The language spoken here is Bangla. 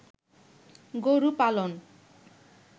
গরু পালন